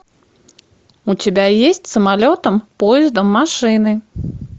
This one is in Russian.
у тебя есть самолетом поездом машиной